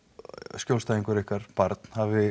skjólstæðingur ykkar barn hafi